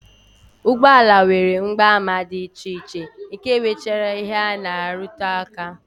Ụgbọala nwere mgbaàmà dị iche iche nke nwechara ihe ha na-arụtụ aka